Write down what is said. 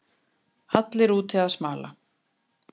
Allir úti að smala